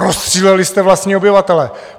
Rozstříleli jste vlastní obyvatele!